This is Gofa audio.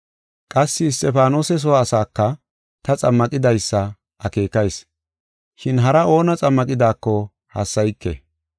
[Qassi Isxifaanose soo asaaka ta xammaqidaysa akeekayis, shin hara oona xammaqidaako hassayike.]